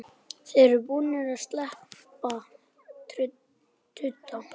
Þeir eru búnir að sleppa tudda!